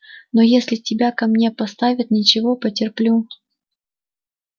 но если тебя ко мне поставят ничего потерплю